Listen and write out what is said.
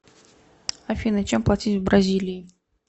афина чем платить в бразилии